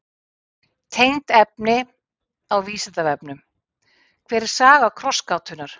Tengt efni á Vísindavefnum: Hver er saga krossgátunnar?